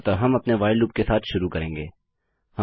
अतः हम अपने व्हाइल लूप के साथ शुरू करेंगे